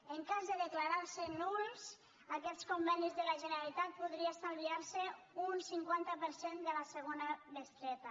en cas de declarar se nuls aquests convenis de la generalitat podria estalviar se un cinquanta per cent de la segona bestreta